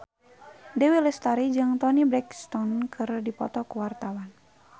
Dewi Lestari jeung Toni Brexton keur dipoto ku wartawan